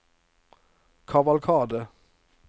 kavalkade